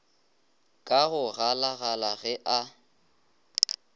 ka go galagala ge a